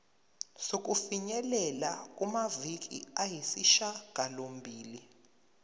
sokufinyelela kumaviki ayisishagalombili